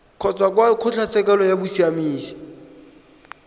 kgotsa kwa kgotlatshekelo ya bosiamisi